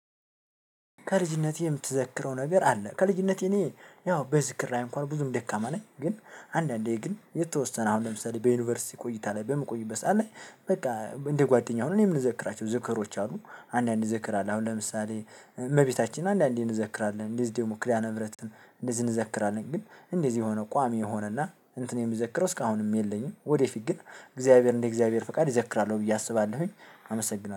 ከልጅነቴ የምትዘክረው ነገር አለ? ከልጅነቴ እኔ ያው በዝክራዬ እንኳን ብዙም ደካማ ነኝ ግን አንዳንዴ ግን የተወሰነ አሁን ለምሳሌ በዩኒቨርሲቲ ቆይታ ላይ በምቆይበት ሰዓት ላይ በቃ እንደ ጓደኛ ሆነን የምንዘክራቸው ዝክሮች አሉ። አንዳንዴ እንዘክራለን አሁን ለምሳሌ እመቤታችን አንዳንዴ እንዘክራለን እንደዚሁም ደግሞ ክዳነ ምህረትን እንደዚህ እንዘክራለን ግን እንደዚህ የሆነ ቋሚ የሆነና እንትን የሚዘክረው እስካሁንም የለኝም። ወደፊት ግን እግዚአብሔር እንደ እግዚአብሔር ፈቃድ ይዘክራለሁ ብዬ አስባለሁኝ። አመሰግናለሁ።